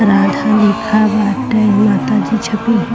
राधा लिखा बाटे। माता जी छपी है।